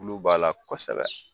Tulo b'a la kɔsɛbɛ.